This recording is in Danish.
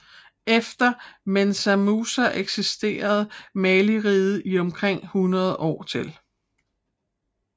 Efter Mensa Musa eksisterede Maliriget i omkring hundrede år til